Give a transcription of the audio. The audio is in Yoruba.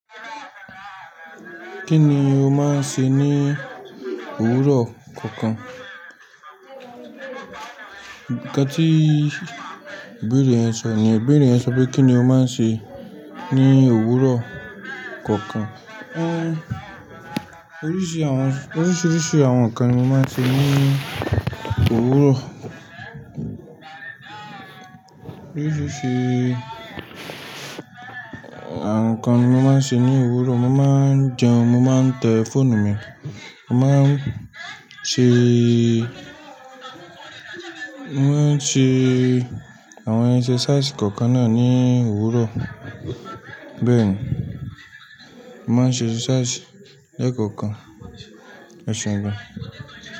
Kí ni o máa ń ṣe ní òwúrọ̀ kọ̀ọ̀kan? Nkán tí ibeere yeń sọ niyen, ibeere yen ń sọ pé kí ni o máa ń ṣe ní òwúrọ̀ kọ̀ọ̀kan? Ë, oríṣiríṣi àwọn nǹkan ni mo máa ń ṣe ní òwúrọ̀. Àwọn nǹkan mo máa ń ṣe ní òwúrọ̀. Mo máa ń jẹun, mo máa ń tẹ fóònù mi, mo máa ń ṣe, mo máa ń ṣe àwọn exercise kọ̀ọ̀kan náà ní òwúrọ̀. Bẹ́ẹ̀ ni, mo máa ń ṣe exercise lẹ́ẹ̀kọ̀kan, E seun gan.